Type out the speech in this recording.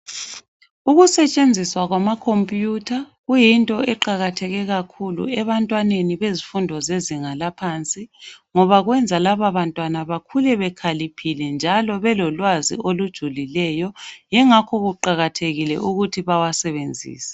Ukusetshenziswa kwamakhompiyutha kuyinto eqakathekileyo kakhulu ebantwaneni bezifundo zezinga laphansi ngoba kwenza laba bantwana bakhule bekhaliphile njalo belolwazi olujulileyo yingakho kuqakathekile ukuthi bawasebenzise.